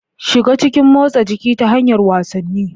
Shiga cikin motsa jiki ta hanyar wasanni.